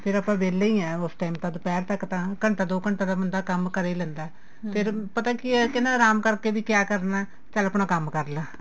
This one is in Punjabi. ਫੇਰ ਆਪਾਂ ਵੇਲੇ ਈ ਆ ਉਸ time ਤਾਂ ਦੁਪਹਿਰ ਤੱਕ ਤਾਂ ਘੰਟਾ ਦੋ ਘੰਟਾ ਤਾਂ ਕੰਮ ਕਰ ਈ ਲੈਂਦਾ ਪਤਾ ਕੀ ਏ ਕੇ ਆਰਾਮ ਕਰ ਕੇ ਵੀ ਕਿਆ ਕਰਨਾ ਚੱਲ ਆਪਣਾ ਕੰਮ ਕਰਲਾ